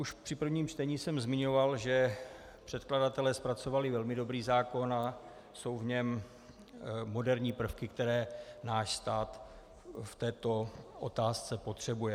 Už při prvním čtení jsem zmiňoval, že předkladatelé zpracovali velmi dobrý zákon a jsou v něm moderní prvky, které náš stát v této otázce potřebuje.